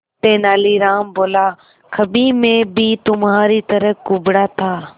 तेनालीराम बोला कभी मैं भी तुम्हारी तरह कुबड़ा था